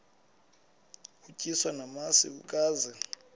utyiswa namasi ukaze